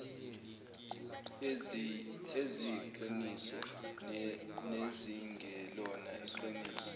eziyiqiniso nezingelona iqiniso